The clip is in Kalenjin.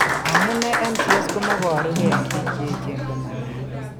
Amune NCS ko moboru ke eng' biik che echen ko manaat.